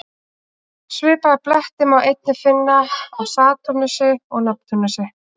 Svipaða bletti má einnig finna á Satúrnusi og Neptúnusi.